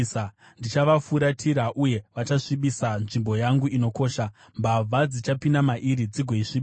Ndichavafuratira uye vachasvibisa nzvimbo yangu inokosha; mbavha dzichapinda mairi dzigoisvibisa.